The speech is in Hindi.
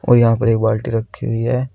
और यहां पर एक बाल्टी रखी हुई है।